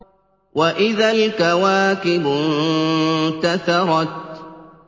وَإِذَا الْكَوَاكِبُ انتَثَرَتْ